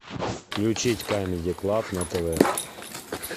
включить камеди клаб на тв